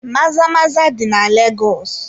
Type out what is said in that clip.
Maza-maza dị na Legọs.